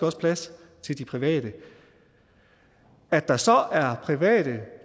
også plads til de private at der så er private